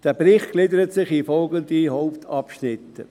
Dieser Bericht gliedert sich in folgende Hauptabschnitte: